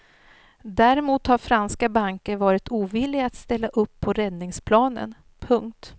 Däremot har franska banker varit ovilliga att ställa upp på räddningsplanen. punkt